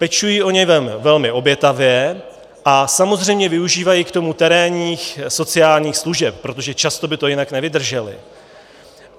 Pečují o něj velmi obětavě a samozřejmě využívají k tomu terénních sociálních služeb, protože často by to jinak nevydržely.